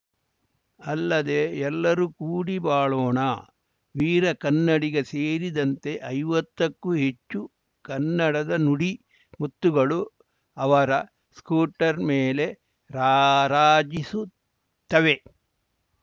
ಅಲ್ಲದೆ ಎಲ್ಲರೂ ಕೂಡಿ ಬಾಳೋಣ ವೀರ ಕನ್ನಡಿಗ ಸೇರಿದಂತೆ ಐವತ್ತಕ್ಕೂ ಹೆಚ್ಚು ಕನ್ನಡದ ನುಡಿ ಮುತ್ತುಗಳು ಅವರ ಸ್ಕೂಟರ್‌ ಮೇಲೆ ರಾರಾಜಿಸುತ್ತವೆ